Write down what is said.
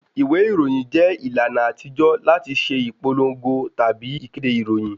Ìwé ìròyìn jẹ́ ìlànà àtijó láti ṣe ìpòlòngo tabi ìkéde ìròyìn